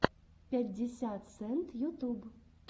пятьдесят сент ютуб